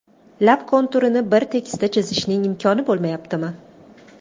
Lab konturini bir tekisda chizishning imkoni bo‘lmayaptimi?